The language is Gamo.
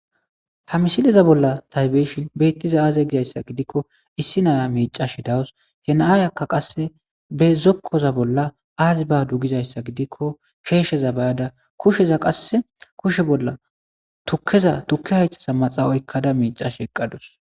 ha misileza bolla ta beshin beettiza aaze gizayssa gidikko issi naya miicash dawus henaaay akka qasse be zokkoza bolla aazi badugizayssa gidikko keesheza bayada kusheza qasse kushe bolla tukkeza tukki haythasa maxaa oykkada miicash eqqadus